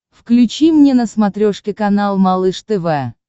включи мне на смотрешке канал малыш тв